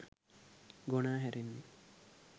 ගොනා හැරෙන්නේ